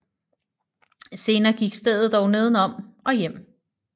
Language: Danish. Senere gik stedet dog neden om og hjem